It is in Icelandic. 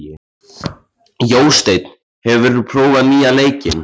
Jósteinn, hefur þú prófað nýja leikinn?